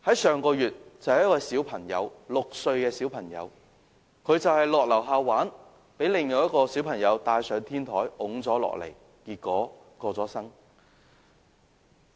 上個月，二坡坊就有一個6歲的小朋友到樓下玩耍時，被另一個小朋友帶上天台推了下來，結果逝世。